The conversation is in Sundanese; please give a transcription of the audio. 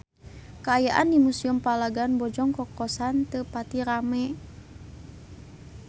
Kaayaan di Museum Palagan Bojong Kokosan teu pati rame